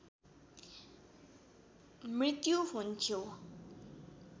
मृत्यु हुन्थ्यो